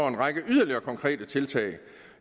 en række yderligere konkrete tiltag